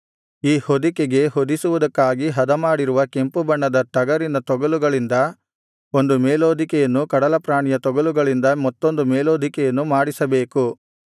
ಈ ಹೊದಿಕೆಗೆ ಹೊದಿಸುವುದಕ್ಕಾಗಿ ಹದಮಾಡಿರುವ ಕೆಂಪುಬಣ್ಣದ ಟಗರಿನ ತೊಗಲುಗಳಿಂದ ಒಂದು ಮೇಲ್ಹೊದಿಕೆಯನ್ನು ಕಡಲಪ್ರಾಣಿಯ ತೊಗಲುಗಳಿಂದ ಮತ್ತೊಂದು ಮೇಲ್ಹೊದಿಕೆಯನ್ನು ಮಾಡಿಸಬೇಕು